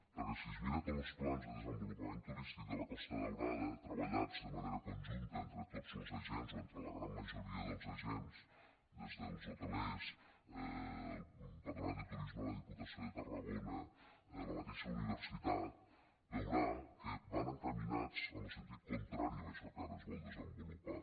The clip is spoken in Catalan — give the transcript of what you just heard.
perquè si es mira tots los plans de desenvolupament turístic de la costa daurada treballats de manera conjunta entre tots los agents o entre la gran majoria dels agents des dels hotelers el patronat de turisme de la diputació de tarragona la mateixa universitat veurà que van encaminats en lo sentit contrari d’això que ara es vol desenvolupar